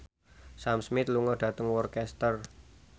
Sam Smith lunga dhateng Worcester